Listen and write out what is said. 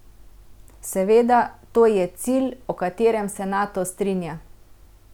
Seveda, to je cilj, o katerem se Nato strinja.